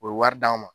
U ye wari d'an ma